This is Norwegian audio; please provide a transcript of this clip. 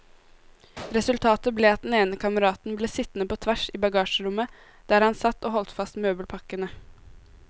Resultatet ble at den ene kameraten ble sittende på tvers i bagasjerommet, der han satt og holdt fast møbelpakkene.